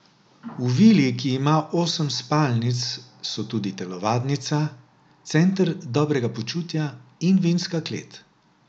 V vili, ki ima osem spalnic, so tudi telovadnica, center dobrega počutja in vinska klet.